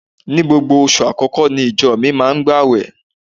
Ní gbogbo oṣù àkọ́kọ́ ní ìjọ mi máa ń gbàwẹ̀